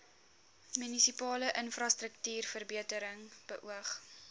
munisipale infrastruktuurverbetering beoog